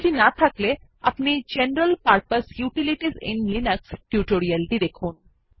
সেটি না থাকলে দয়া করে general purpose utilities in Linux tutorial টি দেখুন